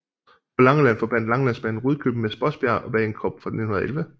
På Langeland forbandt Langelandsbanen Rudkøbing med Spodsbjerg og Bagenkop fra 1911